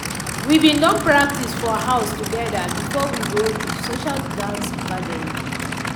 we bin don practice for house together before we go de social dance gathering.